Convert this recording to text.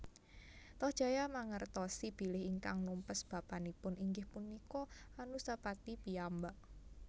Tohjaya mangertosi bilih ingkang numpes bapanipun inggih punika Anusapati piyambak